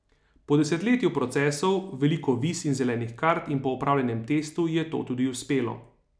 Po desetletju procesov, veliko viz in zelenih kart, in po opravljenem testu, ji je to tudi uspelo.